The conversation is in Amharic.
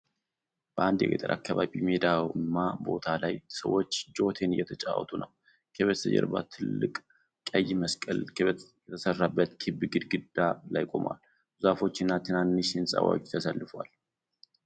በአንድ የገጠር አካባቢ ሜዳማ ቦታ ላይ ሰዎች ጆተኒ እየተጫወቱ ነው፡፡ ከበስተጀርባ ትልቅ ቀይ መስቀል ከተሰራበት ክብ ግድግዳ ላይ ቆሟል። ዛፎችና ትናንሽ ሕንፃዎች ተሰልፈዋል፡፡